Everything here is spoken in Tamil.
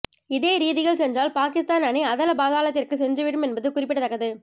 இதே ரீதியில் சென்றால் பாகிஸ்தான் அணி அதளபாதாளத்திற்கு சென்றுவிடும் என்பது குறிப்பிடத்தக்கது